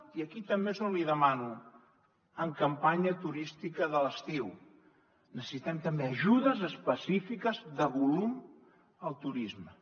i aquí també és on li demano en campanya turística de l’estiu necessitem també ajudes específiques de volum al turisme